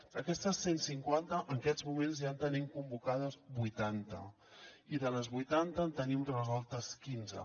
d’aquestes cent cinquanta en aquests moments ja en tenim convocades vuitanta i de les vuitanta en tenim resoltes quinze